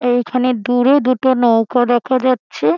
এইখানে দূরে দুটো নৌকা দেখা যাচ্ছে।